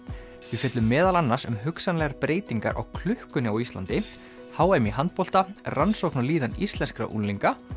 við fjöllum meðal annars um hugsanlegar breytingar á klukkunni h m í handbolta rannsókn á líðan íslenskra unglinga